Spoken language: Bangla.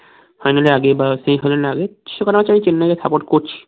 final এর আগে বা semi final এর আগে সেকটা match আমি চেন্নাই কে support করছি